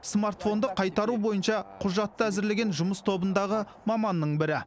смартфонды қайтару бойынша құжатты әзірлеген жұмыс тобындағы маманның бірі